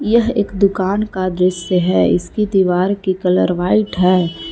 यह एक दुकान का दृश्य है इसकी दीवार की कलर व्हाइट है।